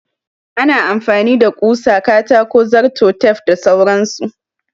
Ana amfani da ƙusa, katako, zarto, tef da sauran su.